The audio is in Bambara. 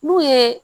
N'u ye